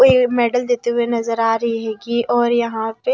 ये मेडल देते हुए नजर आ रही है कि और यहां पे--